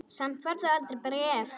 Samt færð þú aldrei bréf.